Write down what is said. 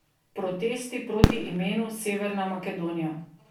Protesti proti imenu Severna Makedonija.